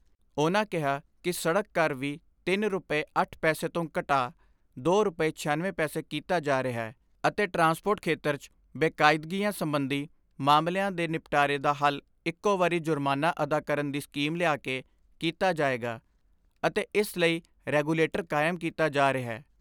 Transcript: ਉਨ੍ਹਾਂ ਕਿਹਾ ਕਿ ਸੜਕ ਕਰ ਵੀ ਤਿੰਨ ਰੁਪੈ ਅੱਠ ਪੈਸੇ ਤੋਂ ਘਟਾ ਦੋ ਰੁਪੈ ਛਿਆਨਵੇਂ ਪੈਸੇ ਕੀਤਾ ਜਾ ਰਿਹੈ ਅਤੇ ਟਰਾਂਸਪੋਰਟ ਖੇਤਰ 'ਚ ਬੇਕਾਇਦਗੀਆਂ ਸਬੰਧੀ ਮਾਮਲਿਆਂ ਦੇ ਨਿਪਟਾਰੇ ਦਾ ਹੱਲ ਇਕੋ ਵਾਰੀ ਜੁਰਮਾਨਾ ਅਦਾ ਕਰਨ ਦੀ ਸਕੀਮ ਲਿਆ ਕੇ ਕੀਤਾ ਜਾਏਗਾ ਅਤੇ ਇਸ ਲਈ ਰੈਗੂਲੇਟਰ ਕਾਇਮ ਕੀਤਾ ਜਾ ਰਿਹੈ।